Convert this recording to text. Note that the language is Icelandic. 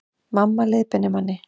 Mamma leiðbeinir manni